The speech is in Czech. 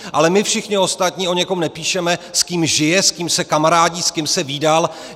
Ale my všichni ostatní o někom nepíšeme, s kým žije, s kým se kamarádí, s kým se vídal.